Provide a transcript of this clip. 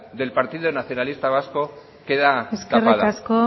del partido nacionalista vasco queda tapada eskerrik asko